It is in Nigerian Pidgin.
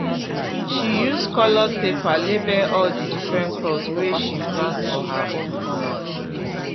she use coloured paper label all the different crops wey she plant for her own corner